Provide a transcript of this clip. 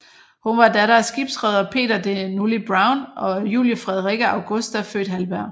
Hun var datter af skibsreder Peter de Nully Brown og Julie Frederikke Augusta født Halberg